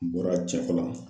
N bɔra .